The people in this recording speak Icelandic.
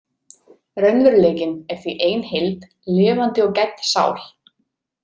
Raunveruleikinn er því ein heild, lifandi og gædd sál.